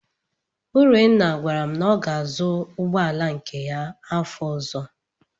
Urenna gwara m na ọ ga-azụ ụgbọala nke ya afọ ọ̀zọ́.